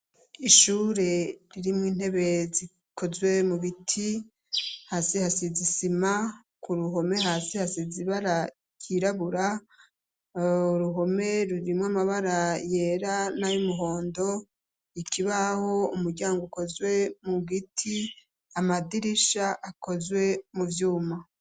Ishure ririmwo intebe zikozwe mu biti hasi hasi zisima ku ruhome hasi hasi zibara kirabura ruhome rurimwo amabara yera n'ayoumuhondo ikibaho umuryango ukozwe mu giti amadirisha akoze zwe mu vyuma.